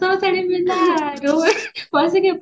ପାଠ ପଢୁଚି